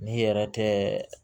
N'i yɛrɛ tɛ